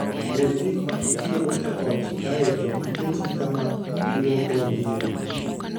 Gol gik ma itiyogo e ot kae to iketgi kama ilwokogie.